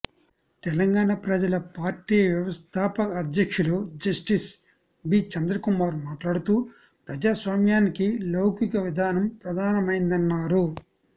తెలంగాణ ప్రజల పార్టీ వ్యవస్థాపక అధ్యక్షులు జస్టిస్ బి చంద్రకుమార్ మాట్లాడుతూ ప్రజాస్వామ్యానికి లౌకిక విధానం ప్రధానమైందన్నారు